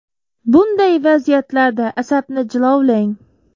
Bunday vaziyatlarda, asabni jilovlang!